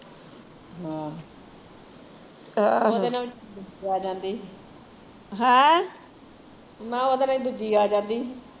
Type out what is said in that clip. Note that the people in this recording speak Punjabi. ਆਹ ਉਹਦੇ ਨਾਲ਼ ਹੀਂ ਦੂਜੀ ਆ ਜਾਂਦੀ